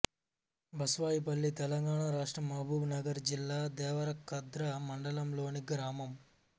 బస్వాయిపల్లి తెలంగాణ రాష్ట్రం మహబూబ్ నగర్ జిల్లా దేవరకద్ర మండలంలోని గ్రామం